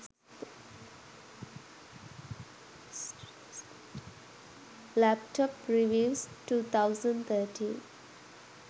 laptop reviews 2013